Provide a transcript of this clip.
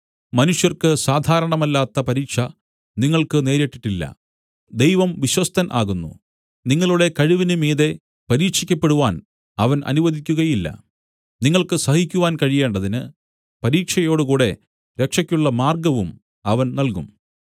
മനുഷ്യർക്ക് സാധാരണമല്ലാത്ത പരീക്ഷ നിങ്ങൾക്ക് നേരിട്ടിട്ടില്ല ദൈവം വിശ്വസ്തൻ ആകുന്നു നിങ്ങളുടെ കഴിവിന് മീതെ പരീക്ഷിക്കപ്പെടുവാൻ അവൻ അനുവദിക്കുകയില്ല നിങ്ങൾക്ക് സഹിക്കുവാൻ കഴിയേണ്ടതിന് പരീക്ഷയോടുകൂടെ രക്ഷയ്ക്കുള്ള മാർഗ്ഗവും അവൻ നൽകും